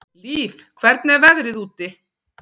Líf, hvernig er veðrið úti?